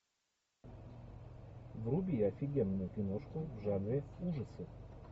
вруби офигенную киношку в жанре ужасы